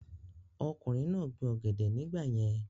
ọkùnrin náà gbin ọ̀gẹ̀dẹ̀ nígbà yẹn